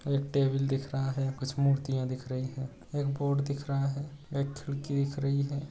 एक टेबल दिख रहा है कुछ मूर्ति या दिख रही है एक बोर्ड दिख रहा है एक खिड़की दिख रही है।